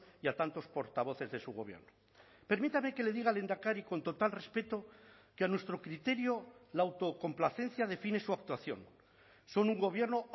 y a tantos portavoces de su gobierno permítame que le diga lehendakari con total respeto que a nuestro criterio la autocomplacencia define su actuación son un gobierno